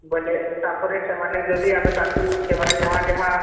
ବୋଇଲେ ତାପରେ ଆମେ ଯଦି ତାଙ୍କୁ ସେମାନେ ଯାହା ଯାହା